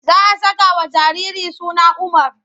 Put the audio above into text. Za a sakawa jariri suna Umar.